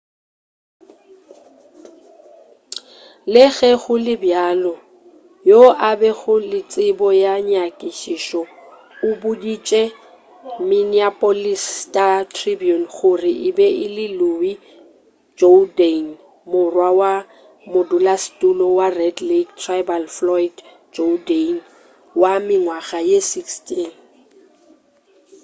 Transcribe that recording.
le ge go le bjalo yo a bego le tsebo ya nyakišišo o boditše minneapolis star-tribune gore e be e le louis jourdain morwa wa modulasetulo wa red lake tribal floyd jourdain wa mengwaga ye 16